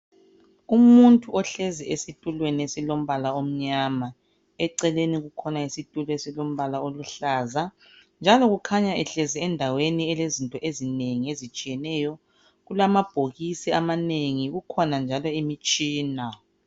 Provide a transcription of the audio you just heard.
Umuntu ohlezi esitulweni esilombala omnyama, eceleni kukhona isitulo esilombala oluhlaza njalo kukhanya ehlezi endaweni elezinto ezinengi ezitshiyeneyo kulamabhokisi amanengi kukhona njalo imitshina.